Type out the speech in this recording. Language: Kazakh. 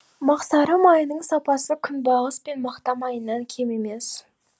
мақсары майының сапасы күнбағыс пен мақта майынан кем емес